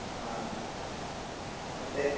ಹ ಮತ್ತೆ?